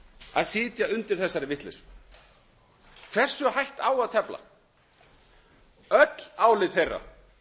að sitja undir þessari vitleysu hversu hætt á að tefla öll álit þeirra